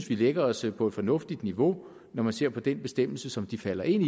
vi lægger os på et fornuftigt niveau når man ser på den bestemmelse som de falder ind